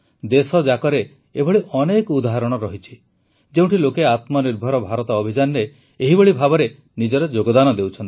ଦେଶଯାକରେ ଏଭଳି ଅନେକ ଉଦାହରଣ ରହିଛି ଯେଉଁଠି ଲୋକେ ଆତ୍ମନିର୍ଭର ଭାରତ ଅଭିଯାନରେ ଏହିଭଳି ଭାବରେ ନିଜର ଯୋଗଦାନ ଦେଉଛନ୍ତି